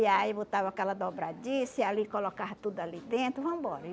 E aí botava aquela dobradiça e ali, colocava tudo ali dentro, vambora.